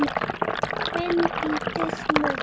Þín Bryndís Muggs.